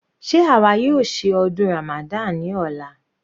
Sé àwa yóò ṣe ọdún Ramadan ní ọ̀la?